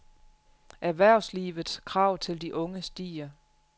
Erhvervslivets krav til de unge stiger.